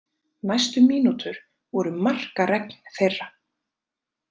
Næstu mínútur voru markaregn þeirra.